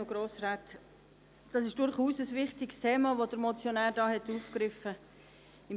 Das ist durchaus ein wichtiges Thema, das der Motionär hier aufgegriffen hat.